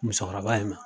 Musokɔrɔba in ma